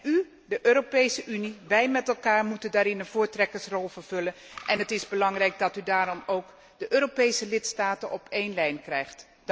U, de Europese Unie, wij met elkaar, moeten daarin een voortrekkersrol vervullen en het is belangrijk dat u daarom de Europese lidstaten op één lijn krijgt.